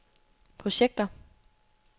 projekter